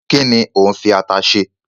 Kíni o n fi ata se